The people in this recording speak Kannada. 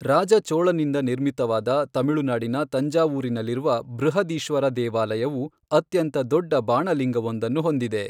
ರಾಜ ಚೋಳನಿಂದ ನಿರ್ಮಿತವಾದ ತಮಿಳುನಾಡಿನ ತಂಜಾವೂರಿನಲ್ಲಿರುವ ಬೃಹದೀಶ್ವರ ದೇವಾಲಯವು ಅತ್ಯಂತ ದೊಡ್ಡ ಬಾಣಲಿಂಗವೊಂದನ್ನು ಹೊಂದಿದೆ.